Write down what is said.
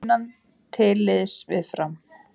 Sunna til liðs við Fram